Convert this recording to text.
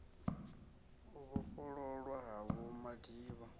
u vhofhololwa ha vho madiba